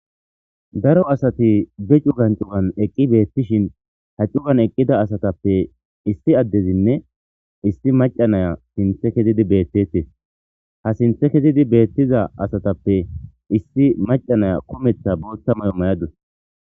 daro asati de cugan cugan eqqi beettishin ha cugan eqqida asatappe issi addezinne issi maca naya sinthe kezidi beettettes ha sinthe kezidi beettiza asatappe issi macanaya kumetha booththa mayo may7adus